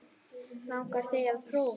Langar þig til að prófa?